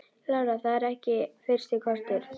Lára: Það er ekki fyrsti kostur?